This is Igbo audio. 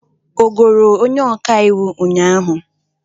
Ọ goro onye ọka iwu ụnyahụ?